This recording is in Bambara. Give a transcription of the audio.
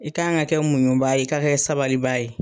I kan ka kɛ muɲuba ye, i kan ka kɛ sabaliba ye.